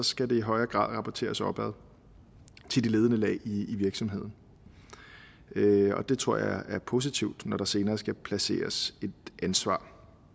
skal det i højere grad rapporteres opad til de ledende lag i virksomheden det tror jeg er positivt når der senere skal placeres et ansvar